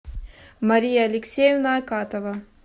мария алексеевна акатова